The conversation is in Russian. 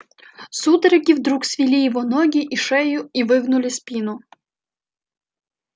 судороги вдруг свели его ноги и шею и выгнули спину